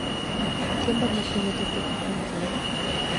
Chiemba mating'o dhi chopo kae saa adi